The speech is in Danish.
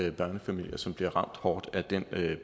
er børnefamilier som bliver ramt hårdt af den